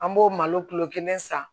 An b'o malo kilo kelen san